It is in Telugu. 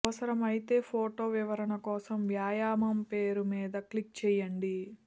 అవసరమైతే ఫోటో వివరణ కోసం వ్యాయామం పేరు మీద క్లిక్ చేయండి